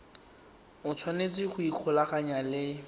o tshwanetse go ikgolaganya le